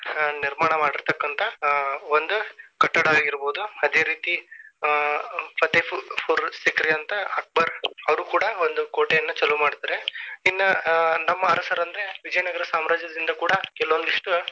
ನಿರ್ಮಾಣ ಮಾಡಿರತಕ್ಕಂತ ಒಂದ ಕಟ್ಟಡ ಆಗಿರಬಹುದು ಅದೇ ರೀತಿ ಆ Fatehpur Sikri ಅಂತ ಅಕ್ಬರ ಅವ್ರು ಕೂಡ ಒಂದು ಕೋಟೆಯನ್ನಾ ಚಾಲು ಮಾಡ್ತಾರ. ಇನ್ನಾ ನಮ್ಮಾ ಅರಸರಂದ್ರೆ ವಿಜಯನಗರ ಸಾಮ್ರಾಜ್ಯದಿಂದ ಕೂಡ ಕೆಲವೊಂದಿಷ್ಟು.